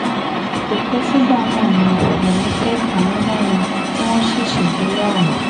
kò pẹ́ sígbà náà ni yomi fẹ́ ameenah yìí tí wọ́n sì ṣègbéyàwó